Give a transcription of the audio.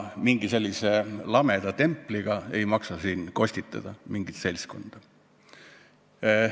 Mingi sellise lameda templiga ei maksa siin mingit seltskonda kostitada.